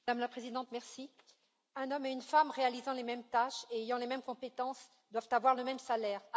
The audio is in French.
Madame la Présidente, un homme et une femme réalisant les mêmes tâches et ayant les mêmes compétences doivent avoir le même salaire.